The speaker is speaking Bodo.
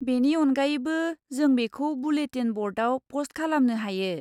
बेनि अनगायैबो, जों बेखौ बुलेटिन ब'र्डआव पस्ट खालामनो हायो।